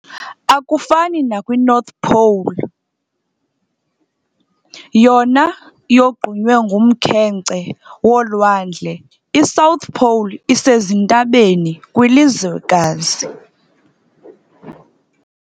Akufani nakwi"North pole", yona yogqunywe ngumkhenkce wolwandle, i"South pole" isezintabeni kwilizwekazi.